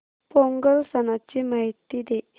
पोंगल सणाची माहिती दे